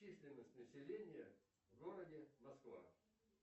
численность населения в городе москва